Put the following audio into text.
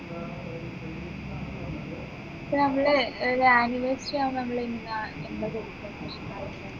പ്പോ നമ്മള് ഏർ anniversary ആവുമ്പോ നമ്മള് എന്താ എന്താ കൊടുക്കേണ്ടത്